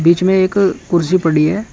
बीच में एक कुर्सी पड़ी हुई है।